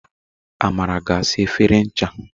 Amara ga asa efere ncha.